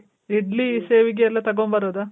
ಇಡ್ಲಿ, ಶೇವಿಗೆ ಎಲ್ಲ ತಗೊಂಬರೋದ?